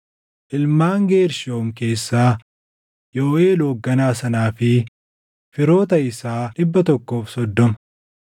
ilmaan Geershoom keessaa, Yooʼeel hoogganaa sanaa fi firoota isaa 130;